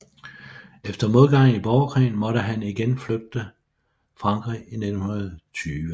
Efter modgang i borgerkrigen måtte han igen flygte Frankrig 1920